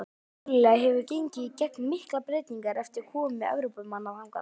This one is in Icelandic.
Ástralía hefur gengið í gegnum miklar breytingar eftir komu Evrópumanna þangað.